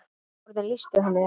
Orðin lýstu henni ekki.